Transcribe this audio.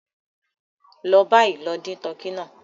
Lọ bayì, lọ dìn tọkí náà!